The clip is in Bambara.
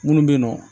Minnu bɛ yen nɔ